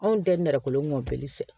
Anw tɛ nɛrɛ kolon fɛ